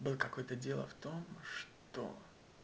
был какой-то дело в том что